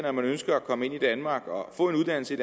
og man ønsker at komme ind i danmark og få en uddannelse